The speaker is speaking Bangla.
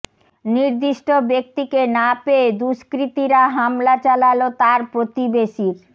নির্দিষ্ট ব্যক্তিকে না পেয়ে দুষ্কৃতীরা হামলা চালাল তাঁর প্রতিবেশীর